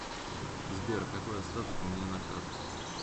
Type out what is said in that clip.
сбер какой остаток у меня на карте